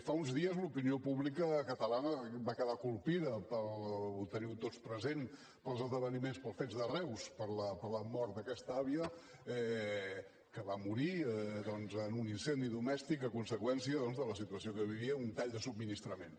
fa uns dies l’opinió pública catalana va quedar colpida ho teniu tots present pels esdeveniments pels fets de reus per la mort d’aquesta àvia que va morir doncs en un incendi domèstic a conseqüència de la situació que vivia un tall de subministrament